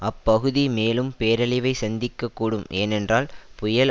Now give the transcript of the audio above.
அப்பகுதி மேலும் பேரழிவை சந்திக்கக் கூடும் ஏனென்றால் புயல்